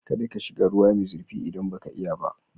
Kada ka shiga ruwa mai zurfi idan baka iya ba.